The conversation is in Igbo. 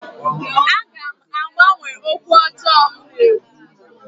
Aga m agbanwe okwu ọjọọ m na-ekwu